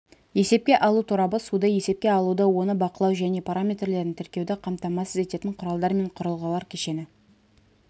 есепке алу торабы суды есепке алуды оны бақылау және параметрлерін тіркеуді қамтамасыз ететін құралдар мен құрылғылар кешені